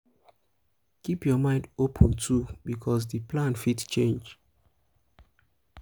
keep your mind open too because di plan fit change